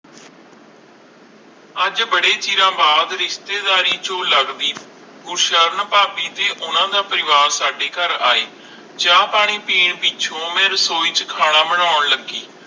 ਅਜੇ ਬਾਰੇ ਚਿਰ ਬਾਦ ਰਿਸ਼ਤੇਦਾਰੀ ਚੋ ਲੱਗਦੀ ਕੁਰਸ਼ਾਂ ਭਾਭੀ ਦੇ ਉਨ੍ਹਾਂ ਦਾ ਪਰਿਵਾਜ਼ ਸਾਡੇ ਕਰ ਆਈ ਚਾਅ ਪਾਣੀ ਪੀਣ ਪਿੱਛੋਂ ਓਵੇ ਰਸੋਈ ਚ ਖਾਣਾ ਬਣਾਉਣ ਲੱਗੀ